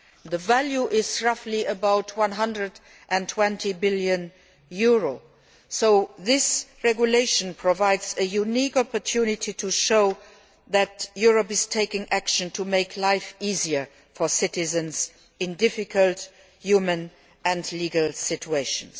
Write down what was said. The value is about EUR 120 billion, so this regulation provides a unique opportunity to show that Europe is taking action to make life easer for citizens in difficult human and legal situations.